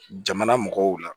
Jamana mɔgɔw la